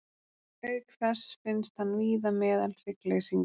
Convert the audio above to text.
Auk þess finnst hann víða meðal hryggleysingja.